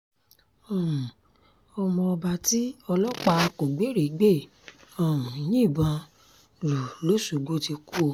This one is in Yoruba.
um ọmọọba tí ọlọ́pàá kógbérègbè um yìnbọn lù lọ́ṣọ́gbó ti kú o